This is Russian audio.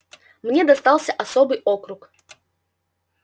мне достался особый округ